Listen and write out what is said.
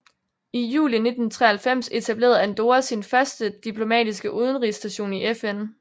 I juli 1993 etablerede Andorra sin første diplomatiske udenrigsstation i FN